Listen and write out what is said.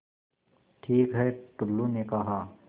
ठीक है टुल्लु ने कहा